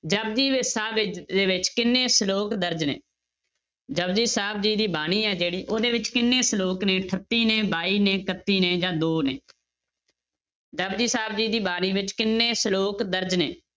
ਜਪੁਜੀ ਵਿੱਚ ਸਾਹਿਬ ਵਿੱਚ ਦੇ ਵਿੱਚ ਕਿੰਨੇ ਸਲੋਕ ਦਰਜ਼ ਨੇ, ਜਪੁਜੀ ਸਾਹਿਬ ਜੀ ਦੀ ਬਾਣੀ ਹੈ ਜਿਹੜੀ ਉਹਦੇ ਵਿੱਚ ਕਿੰਨੇ ਸਲੋਕ ਨੇ ਅਠੱਤੀ ਨੇ ਬਾਈ ਨੇ ਇਕੱਤੀ ਨੇ ਜਾਂ ਦੋ ਨੇ ਜਪਜੀ ਸਾਹਿਬ ਜੀ ਦੀ ਬਾਣੀ ਵਿੱਚ ਕਿੰਨੇ ਸਲੋਕ ਦਰਜ਼ ਨੇ?